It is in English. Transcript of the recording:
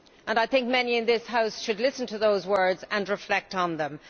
I think many in this House should listen to those words and reflect on them.